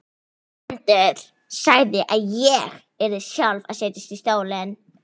Hermundur sagði að ég yrði sjálf að setjast í stólinn.